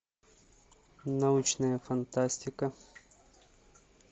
научная фантастика